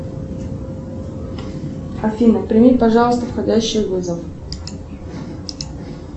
афина прими пожалуйста входящий вызов